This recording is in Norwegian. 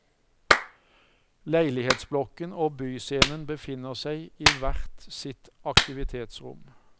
Leilighetsblokken og byscenen befinner seg i hvert sitt aktivitetsrom.